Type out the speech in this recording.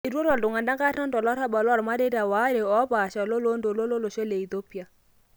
Etwata ltunganak artam tolarabal lomareita ware opasha olontoluo olosho le Ethiopia.